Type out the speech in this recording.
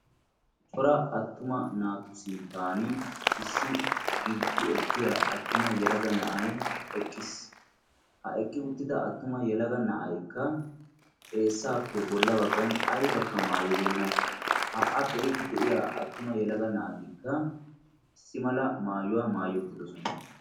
Cora attuma naatu sinttan issi gilqqi ekkiyaa yelaga na'ay eqqiis. ha'i eqqi uttida attuma yelaga na'ay xeessappe bolla baggan aybakka maayibenna. ha a be'iidi de'iyaa attuma yelaga naatikka issi mala maayuwaa maayi uttidosona.